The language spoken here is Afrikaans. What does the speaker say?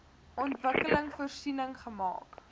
ontwikkeling voorsiening gemaak